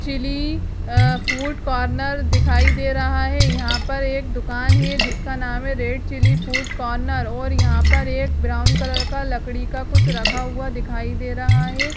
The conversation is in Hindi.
चिली आ फूड कॉर्नर दिखाई दे रहा है यहाँ पर एक दुकान है जिसका नाम है रेड चिली फूड कॉर्नर और यहाँ पर एक ब्राउन कलर का लकड़ी का कुछ रखा हुआ दिखाई दे रहा है।